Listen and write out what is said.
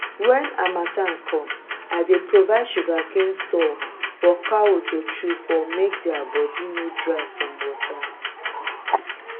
when harmattan come i dey provide sugarcane stalk for cow to chew for make thier body nor dry from water